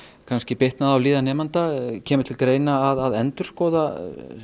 kannski bitnað á líðan nemenda kemur til greina að endurskoða